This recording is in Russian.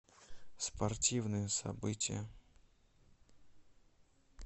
спортивные события